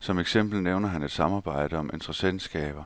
Som eksempel nævner han et samarbejde om interessentskaber,